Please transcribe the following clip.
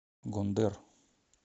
гондэр